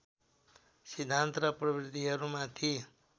सिद्धान्त र प्रविधिहरूमाथि